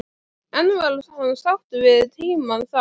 En var hann sáttur við tímann þar?